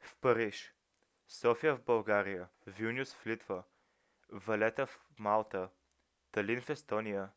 в париж софия в българия вилнюс в литва валета в малта талин в естония